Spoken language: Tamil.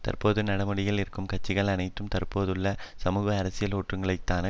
தற்போது நடைமுறையில் இருக்கும் கட்சிகள் அனைத்தும் தற்போதுள்ள சமூக அரசியல் ஒழுங்கைத்தான்